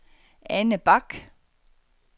Anne Bach